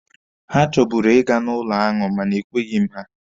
He chọburu ịga n'ụlọ aṅụ mana e kweghi m ha.